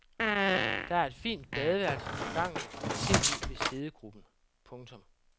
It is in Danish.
Der er et fint badeværelse på gangen og et tv ved siddegruppen. punktum